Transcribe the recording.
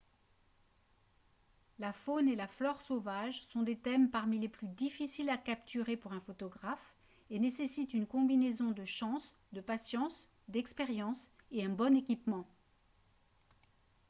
la faune et la flore sauvages sont des thèmes parmi les plus difficiles à capturer pour un photographe et nécessitent une combinaison de chance de patience d'expérience et un bon équipement